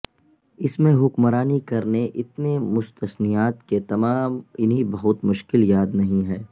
اس میں حکمرانی کرنے اتنے مستثنیات کہ تمام انہیں بہت مشکل یاد نہیں ہیں